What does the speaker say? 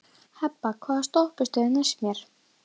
Hebba, hvaða stoppistöð er næst mér?